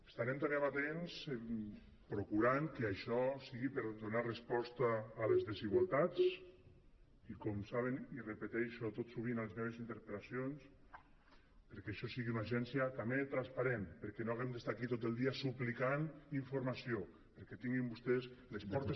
estarem també amatents procurant que això sigui per a donar resposta a les desigualtats i com saben i repeteixo tot sovint a les meves interpel·lacions perquè això sigui una agència també transparent perquè no haguem d’estar aquí tot el dia suplicant informació perquè tinguin vostès les portes